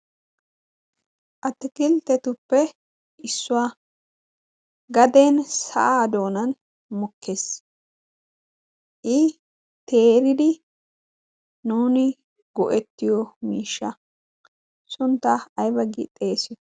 attakilitetuppe issuwaa gaden saadoonan mukkees i teeridi nuuni go'ettiyo miishsha sunttaa ay baggii xeesiyo?